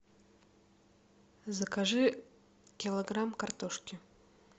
закажи килограмм картошки